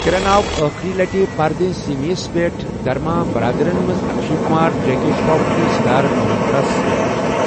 کِرَن آو ٲخٕری لَٹہِ پردے سیمیں یس پٮ۪ٹھ دھرما برادرَن منٛز اکشے کمار، جیکی شرٛاف تہٕ سدھارتھ ملہوتراہَس سۭتۍ وُچھنہٕ ۔